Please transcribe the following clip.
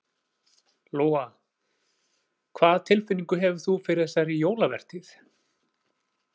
Lóa: Hvað tilfinningu hefur þú fyrir þessari jólavertíð?